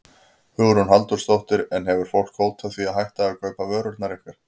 Hugrún Halldórsdóttir: En hefur fólk hótað því að hætta að kaupa vörurnar ykkar?